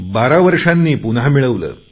बारा वर्षांनी पुन्हा मिळवले